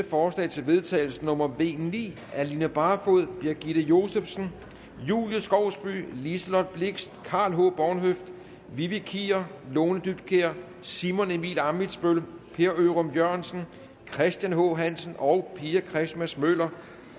forslag til vedtagelse nummer v ni af line barfod birgitte josefsen julie skovsby liselott blixt karl h bornhøft vivi kier lone dybkjær simon emil ammitzbøll per ørum jørgensen christian h hansen og pia christmas møller